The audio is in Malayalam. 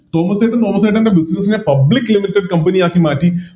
തോമസ്സേട്ടൻ തോമസ്സേട്ടൻറെ Business നെ Public limited company ആക്കി മാറ്റി